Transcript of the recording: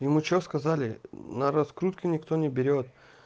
ему что сказали на раскрутке никто не берет